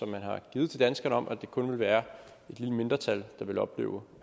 man har givet til danskerne om at det kun vil være et lille mindretal der vil opleve